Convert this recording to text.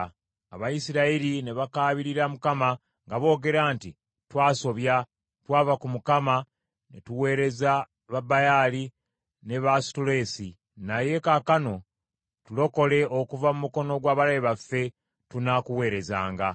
Abayisirayiri ne bakaabirira Mukama , nga boogera nti, ‘Twasobya, twava ku Mukama ne tuweereza Babaali ne Baasutoleesi. Naye kaakano tulokole okuva mu mukono gw’abalabe baffe, tunaakuweerezanga.’